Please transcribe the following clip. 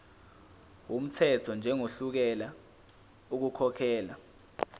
wumthetho njengohluleka ukukhokhela